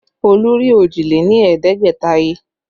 Olú rí òjì lé ní ẹ̀ẹ́dẹ́gbẹ̀ta he